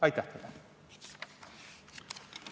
Aitäh teile!